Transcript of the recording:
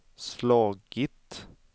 slagit